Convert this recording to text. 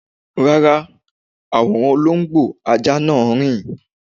Rárá, àwòrán olóńgbò ajá náà rìn